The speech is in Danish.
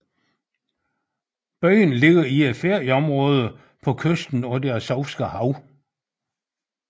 Byen ligger i et ferieområde på kysten af det Azovske Hav